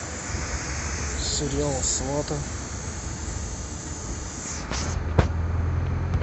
сериал сваты